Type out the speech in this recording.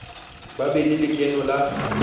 ba be le lekeno la